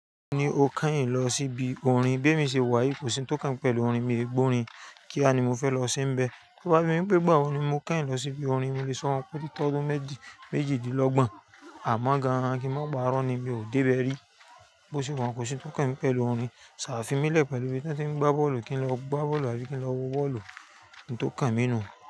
Mi o kányìn lọ sí ibi orin, bí èmi ṣe wà kò sí ń tó kàn mí pẹ̀lú orin, mi o gbó orin kíá ni mo fẹ́ lọ se nbẹ̀. Tó bá bí mí pé ìgbà wo ni mo kányìn lọ sí ibi orin mo lè sọ wọn pé óti tó méjìdínlọ́gbọ̀n amọ̀ gan-an kí n máa pa irọ́ ni mi ò dé bẹ rí. Bo ṣe wà kò sí ń tó kàn mí pẹ̀lú orin. À fimílẹ̀ pẹ̀lú ibi tí wọ́n tí ń gbá bọ́ọ̀lù kí n lọ gbá bọ́ọ̀lù àbí kí n lọ wo bọ́ọ̀lù ohun tó kàn mí nù.